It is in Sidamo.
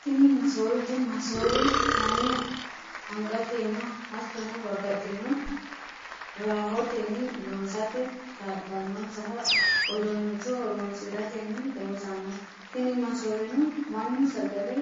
Tini masoowete, massoowe manu angatenna hatonno babaxinno rahotenni loosate kaa'lanonsaha uduunicho horonsiratenni loosanno, tini massoowenno manu sagale